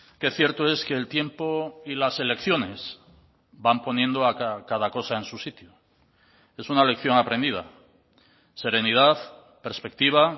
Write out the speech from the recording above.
qué cierto es que el tiempo y las elecciones van poniendo cada cosa en su sitio es una lección aprendida serenidad perspectiva